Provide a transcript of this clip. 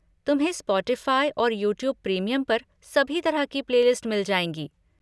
तुम्हें स्पॉटिफ़ाई और YouTube premium पर सभी तरह की प्ले लिस्ट मिल जाएंगी।